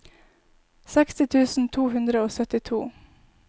seksti tusen to hundre og syttito